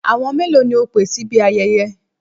Àwọn mélòó ni o pè síbi ayẹyẹ?